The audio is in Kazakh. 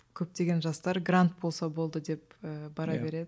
көптеген жастар грант болса болды деп ыыы бара береді